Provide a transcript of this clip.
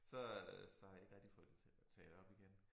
Så øh så har jeg ikke rigtig fået det taget op igen